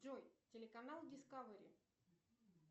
джой телеканал дискавери